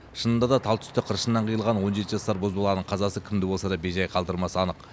шынында да тал түсте қыршынынан қиылған он жеті жасар бозбаланың қазасы кімді болса да бейжай қалдырмасы анық